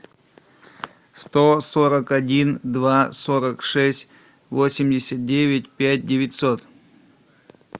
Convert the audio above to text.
сто сорок один два сорок шесть восемьдесят девять пять девятьсот